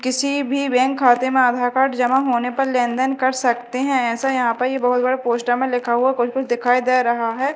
किसी भी बैंक खाते में आधार कार्ड जमा होने पर लेनदेन कर सकते हैं ऐसा यहां पर ये बहोत बड़ा पोस्टर में लिखा हुआ कुछ कुछ दिखाई दे रहा है।